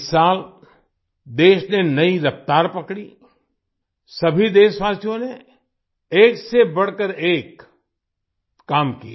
इस साल देश ने नई रफ़्तार पकड़ी सभी देशवासियों ने एक से बढ़कर एक काम किया